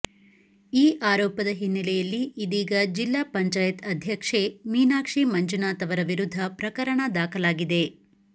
ಈ ಆರೋಪದ ಹಿನ್ನಲೆಯಲ್ಲಿ ಇದೀಗ ಜಿಲ್ಲಾ ಪಂಚಾಯತ್ ಅಧ್ಯಕ್ಷೆ ಮೀನಾಕ್ಷಿ ಮಂಜುನಾಥ್ ಅವರ ವಿರುದ್ದ ಪ್ರಕರಣ ದಾಖಲಾಗಿದೆ